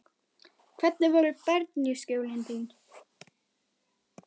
Hvernig voru bernskujólin þín?